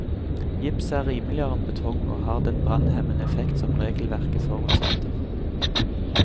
Gips er rimeligere enn betong, og har den brannhemmende effekt som regelverket forutsetter.